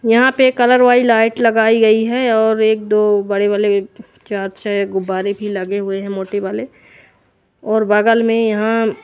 यहाँ पे कलर वाली लाइट लगाई गयी है और एक दो बड़े वाले चर्च है गुब्बारे भी लगे हुए है मोटे वाले और बगल में यहाँ--